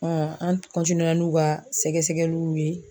an n'u ka sɛgɛsɛgɛliw ye.